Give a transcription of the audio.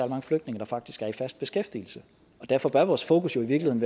mange flygtninge der faktisk er i fast beskæftigelse og derfor bør vores fokus jo i